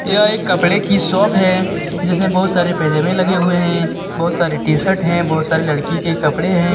यह एक कपड़े की शॉप है जिसमे बहुत सारे पजेमे लगे हुए हैं बहुत सारी टीशर्ट हैं बहुत सारी लड़की के कपड़े हैं.